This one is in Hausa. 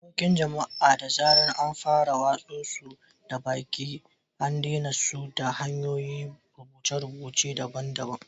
Waƙoƙin jama’a, da zarar an fara watsa su da baki, an adana su ta hanyar rubuce-rubuce daban-daban.